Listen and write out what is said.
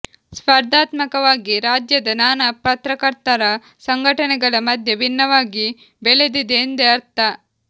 ಸ್ಪರ್ಧಾತ್ಮಕವಾಗಿ ರಾಜ್ಯದ ನಾನಾ ಪತ್ರಕರ್ತರ ಸಂಘಟನೆಗಳ ಮಧ್ಯೆ ಭಿನ್ನವಾಗಿ ಬೆಳೆದಿದೆ ಎಂದೇ ಅರ್ಥ